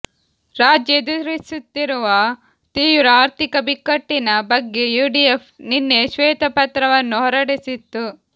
ರಾಜ್ಯ ಎದುರಿಸುತ್ತಿರುವ ತೀವ್ರ ಆರ್ಥಿಕ ಬಿಕ್ಕಟ್ಟಿನ ಬಗ್ಗೆ ಯುಡಿಎಫ್ ನಿನ್ನೆ ಶ್ವೇತಪತ್ರವನ್ನು ಹೊರಡಿಸಿತ್ತು